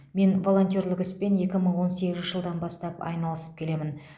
мен волонтерлік іспен екі мың он сегізінші жылдан бастап айналысып келемін